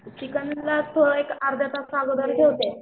चिकनला थोडं एक अर्धातास अगोदर